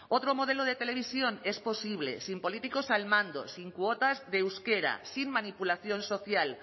otro modelo de televisión es posible sin políticos al mando sin cuotas de euskera sin manipulación social